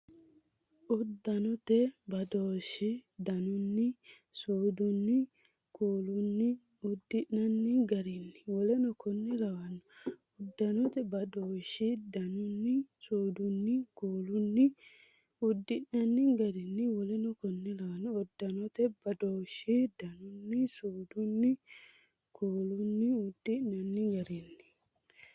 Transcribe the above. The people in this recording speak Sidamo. Uddannate badooshshi danunni, suudunni, kuulunnin- uddi’nanni garinni w k l Uddannate badooshshi danunni, suudunni, kuulunnin- uddi’nanni garinni w k l Uddannate badooshshi danunni, suudunni, kuulunnin- uddi’nanni garinni.